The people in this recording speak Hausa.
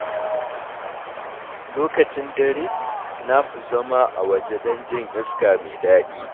Lokacin dare, na fi zama a waje don jin iska mai daɗi.